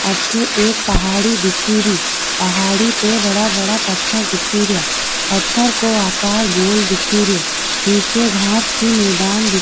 अठे एक पहाड़ी दिखे री पहाड़ी पे बड़ा बड़ा पत्थर दिखे रीया पत्थर को आकार गोल दिखे रियो निचे घास की मैदान दिख --